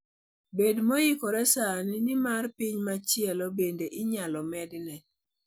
Bed moikore sani, nimar piny machielo bende inyalo medne.